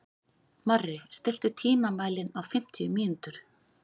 Marri, stilltu tímamælinn á fimmtíu mínútur.